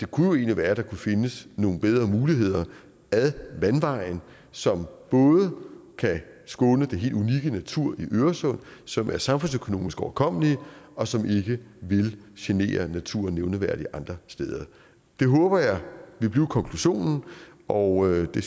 kunne være at der kunne findes nogle bedre muligheder ad vandvejen som både kan skåne den helt unikke natur i øresund som er samfundsøkonomisk overkommelige og som ikke vil genere naturen nævneværdigt andre steder det håber jeg vil blive konklusionen og det